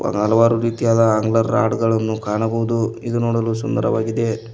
ಹಲವಾರು ರೀತಿಯಾದ ಅಂಗರ್ ರಾಡು ಗಳನ್ನು ಕಾಣಬಹುದು ಇದು ನೋಡಲು ಸುಂದರವಾಗಿದೆ.